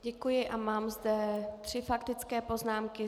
Děkuji a mám zde tři faktické poznámky.